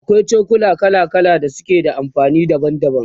akwai cokula kala kala da suke da amfani daban daban